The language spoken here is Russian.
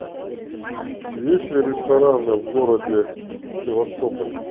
есть ли рестораны в городе севастополь